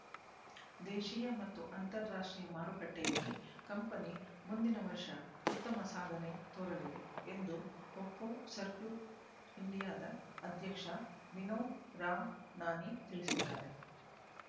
ದೇಶೀಯ ಮತ್ತು ಅಂತರ ರಾಷ್ಟ್ರೀಯ ಮಾರುಕಟ್ಟೆಯಲ್ಲಿ ಕಂಪನಿ ಮುಂದಿನ ವರ್ಷ ಉತ್ತಮ ಸಾಧನೆ ತೋರಲಿದೆ ಎಂದು ಒಪ್ಟೋ ಸರ್ಕೂಟ್ ಇಂಡಿಯಾದ ಅಧ್ಯಕ್ಷ ವಿನೋದ್ ರಾಮ್ ನಾನಿ ತಿಳಿಸಿದ್ದಾರೆ